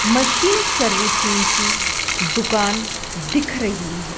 Machine servicing की दुकान दिख रही हैं।